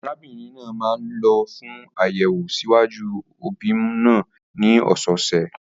Arábìnrin náà máa ń lọ fún àyẹ̀wò ṣíwájú ìbímọ ní ọ̀sọ̀ọ̀sẹ̀.